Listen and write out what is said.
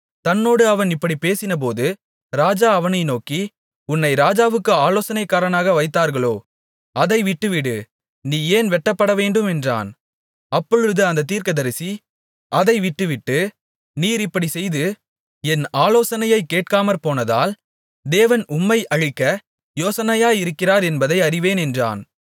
தன்னோடு அவன் இப்படிப் பேசினபோது ராஜா அவனை நோக்கி உன்னை ராஜாவுக்கு ஆலோசனைக்காரனாக வைத்தார்களோ அதை விட்டுவிடு நீ ஏன் வெட்டப்படவேண்டும் என்றான் அப்பொழுது அந்தத் தீர்க்கதரிசி அதை விட்டுவிட்டு நீர் இப்படிச் செய்து என் ஆலோசனையைக் கேட்காமற்போனதால் தேவன் உம்மை அழிக்க யோசனையாயிருக்கிறார் என்பதை அறிவேன் என்றான்